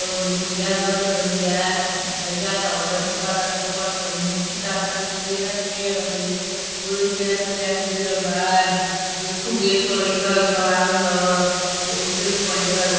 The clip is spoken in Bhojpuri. अदे बुढ़िया अंदर ले गइल बिया। हई जाता हो कारिका वाला के पकड़ के। मोटकी ताकतिया केरा के पेड़ बाटे। ओदे केरा के पेड़ आके गिरल बा। ओया खूब ढ़ेर क लईका वईका बान स। ओदे उज्जर क पहीनले बा एगो।